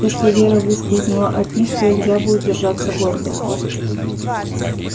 если вера выскользнула от них то илья будет держаться гордо